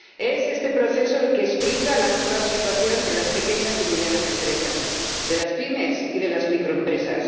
Es este proceso el que explica la actual situación de las pequeñas y medianas empresas, de las pymes y de las microempresas